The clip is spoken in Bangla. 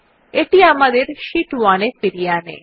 এটি আমাদের শীট 1 এ ফিরিয়ে আনে